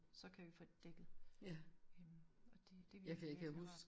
Så kan vi få det dækket øh og det det virkelig virkelig rart